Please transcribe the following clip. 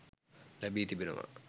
ලැබි තිබෙනවා.